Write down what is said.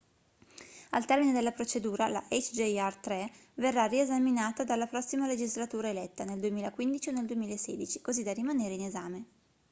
al termine della procedura la hjr 3 verrà riesaminata dalla prossima legislatura eletta nel 2015 o nel 2016 così da rimanere in esame